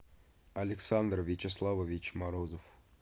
александр вячеславович морозов